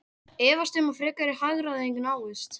Efast um að frekari hagræðing náist